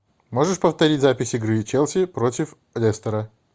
можешь повторить запись игры челси против лестера